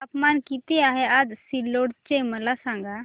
तापमान किती आहे आज सिल्लोड चे मला सांगा